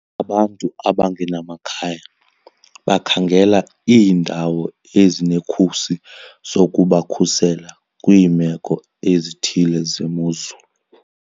Abantu abangenamakhaya bakhangela iindawo ezinekhusi zokubakhusela kwiimeko ezithile zemozulu.